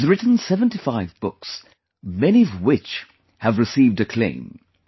He has written 75 books, many of which have received acclaims